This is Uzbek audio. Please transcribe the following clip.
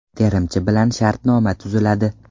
Terimchi bilan shartnoma tuziladi.